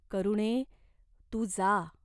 करुणे, तू जा.